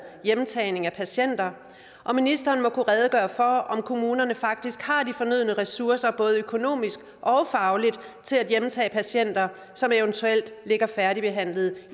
hjemtagning af patienter og ministeren må kunne redegøre for om kommunerne faktisk har de fornødne ressourcer både økonomisk og fagligt til at hjemtage patienter som eventuelt ligger færdigbehandlede